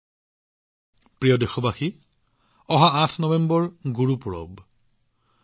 মোৰ মৰমৰ দেশবাসীসকল নৱেম্বৰৰ ৮ তাৰিখ হৈছে গুৰুপূৰবৰ দিন